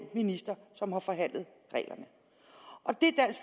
minister som har forhandlet